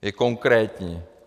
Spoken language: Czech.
Je konkrétní.